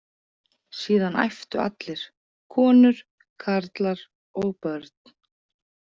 Síðan æptu allir: konur, karlar og börn.